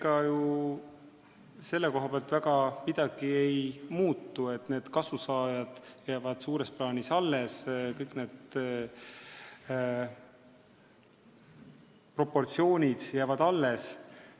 Ega ju selle koha pealt väga midagi ei muutu, kõik kasusaajad jäävad suures plaanis alles, kõik need proportsioonid jäävad alles.